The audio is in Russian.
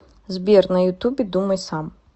сбер на ютубе думай сам